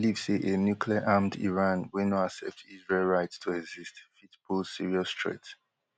dem believe say a nucleararmed iran wey no accept israel right to exist fit pose serious threat